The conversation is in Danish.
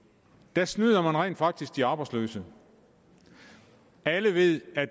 der snyder man rent faktisk de arbejdsløse alle ved at